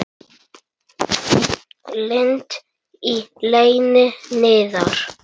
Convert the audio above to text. Lind í leyni niðar.